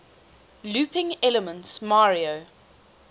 looping elements mario